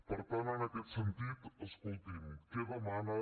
per tant en aquest sentit escolti’m què demana